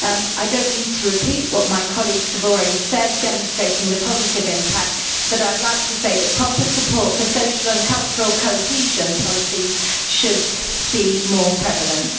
I do not need to repeat what my colleagues have already said, demonstrating the positive impact, but I would like to say that proper support for social and cultural cohesion policies should be more prevalent.